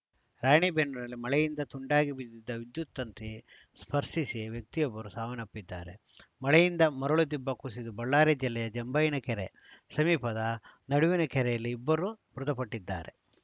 ರಾಣಿಬೆನ್ನೂರಿನಲ್ಲಿ ಮಳೆಯಿಂದ ತುಂಡಾಗಿ ಬಿದ್ದಿದ್ದ ವಿದ್ಯುತ್‌ ತಂತಿ ಸ್ಪರ್ಶಿಸಿ ವ್ಯಕ್ತಿಯೊಬ್ಬರು ಸಾವನ್ನಪ್ಪಿದ್ದಾರೆ ಮಳೆಯಿಂದ ಮರಳು ದಿಬ್ಬ ಕುಸಿದು ಬಳ್ಳಾರಿ ಜಿಲ್ಲೆಯ ಜಂಭಯ್ಯನ ಕೆರೆ ಸಮೀಪದ ನಡುವಿನಕೆರೆಯಲ್ಲಿ ಇಬ್ಬರು ಮೃತಪಟ್ಟಿದ್ದಾರೆ